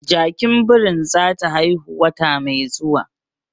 Jakin birin zata haihu wata mai zuwa